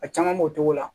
A caman b'o cogo la